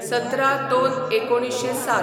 १७/०२/१९०७